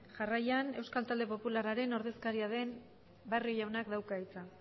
jarraian euskal talde popularraren ordezkaria den barrio jaunak dauka hitza